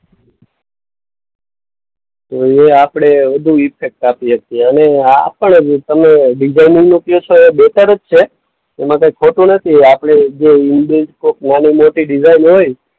તો એ આપણે વધુ ઈફેક્ટ આપી હકીએ. અને આ પણ તમે ડિઝાઈનરનું કઉ છે એ બેટર જ છે. એમાં કંઈ ખોટું નથી. આપણે જે નાની-મોટી ડિઝાઈન હોય